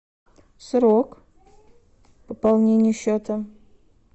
срок пополнения счета